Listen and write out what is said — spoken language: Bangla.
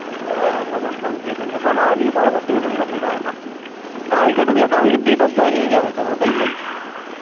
কালকে ঢুকলে কালকেই date of joining যাবে তো ওটাই বলছি।